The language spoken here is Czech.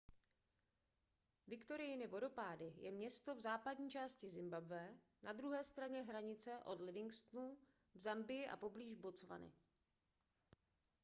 viktoriiny vodopády je město v západní části zimbabwe na druhé straně hranice od livingstonu v zambii a poblíž botswany